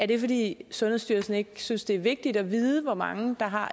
det er fordi sundhedsstyrelsen ikke synes det er vigtigt at vide hvor mange der har